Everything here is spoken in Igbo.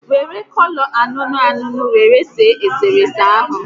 Were kọlọ ańuńuu ańuńuu were see eserese ahụ